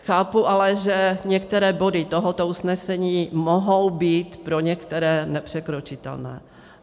Chápu ale, že některé body tohoto usnesení mohou být pro některé nepřekročitelné.